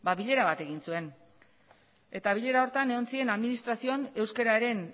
bilera bat egin zuen eta bilera horretan egon ziren administrazioan euskararen